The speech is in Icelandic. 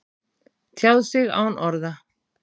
Tjáð sig án orða